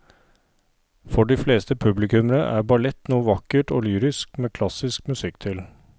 For de fleste publikummere er ballett noe vakkert og lyrisk med klassisk musikk til.